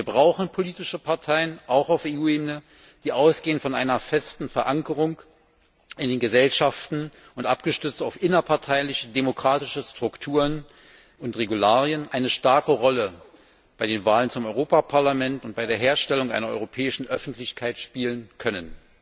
Wir brauchen politische Parteien, auch auf EU Ebene, die von einer festen Verankerung in den Gesellschaften ausgehen und abgestützt auf innerparteiliche demokratische Strukturen und Regularien eine starke Rolle bei den Wahlen zum Europäischen Parlament und bei der Herstellung einer europäischen Öffentlichkeit spielen können.